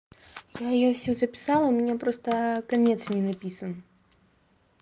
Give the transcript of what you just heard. я её всю записала у меня просто конец не написан